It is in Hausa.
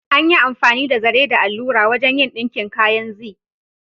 An yi amfani da zare da allura wajen yin ɗinkin kayan Zee.